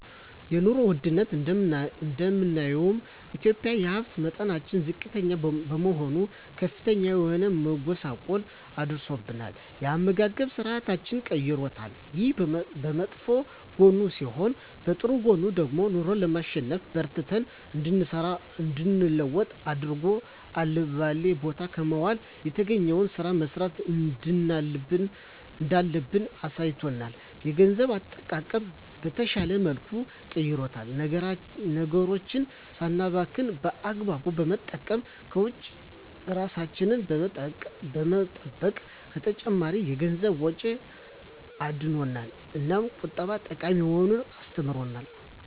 የኑሮ ወድነቱ እንደማንኛውም ኢትዮጵያዊ የሀብት መጠናችን ዝቅተኛ በመሆኑ ከፍተኛ የሆነ መጎሳቆል አድርሶብናል የአመጋገብ ስርአታችንንም ቀይሮታል። ይሄ በመጥፎ ጎኑ ሲሆን በጥሩ ጎኑ ደግሞ ኑሮን ለማሸነፍ በርትተን እንድንሰራ እንድንለወጥ አድርጎ አልባሌ ቦታ ከመዋል የተገኘዉን ስራ መስራት እንዳለብን አሳይቶናል። የገንዘብ አጠቃቀማችንን በተሻለ መልኩ ቀይሮልናል ነገሮችን ሳናባክን በአግባቡ በመጠቀም ከወጪ እራሳችንን በመጠበቅ ከተጨማሪ የገንዘብ ወጪ አድኖናል። እናም ቁጠባ ጠቃሚ መሆኑን አስተምሮናል።